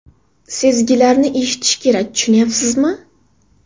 Sezgilarni eshitish kerak, tushunyapsizmi?